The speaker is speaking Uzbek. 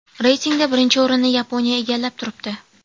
Reytingda birinchi o‘rinni Yaponiya egallab turibdi.